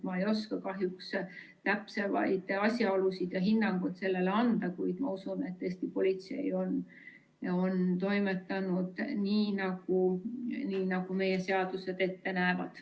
Ma ei oska kahjuks täpsemaid asjaolusid kommenteerida ega hinnanguid neile anda, kuid ma usun, et Eesti politsei on toimetanud nii, nagu meie seadused ette näevad.